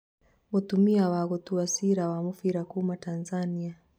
mũtumia wa gũtua cira wa mũbira kuma Tanzania